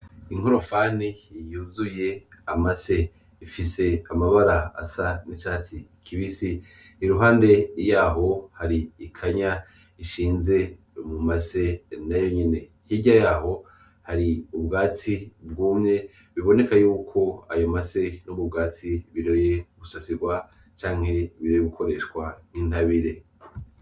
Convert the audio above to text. Inkorofani yuzuye amase. Ifise amabara asa n'icatsi kibisi. Iruhande yaho hari ikanya ishinze mumase nayonyene. Hirya yayo, hari ubwatsi bwumye biboneka yuko ayo mase n'ubwo bwatsi biroye gusasigwa canke biroye gukoreshwa nk'intabire.